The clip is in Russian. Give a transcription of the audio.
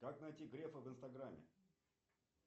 как найти грефа в инстаграме